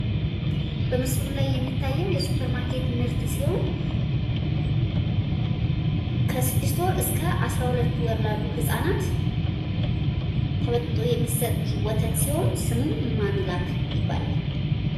በምስሉ ላይ የሚታየው የሱፐርማርኬት ከስድስት ወር እስከ አስራሁለት ወር ላሉ ህጻናት ተበጥብጦ የሚሰጥ ሲሆን ስሙም ማሚላክ ይባላል።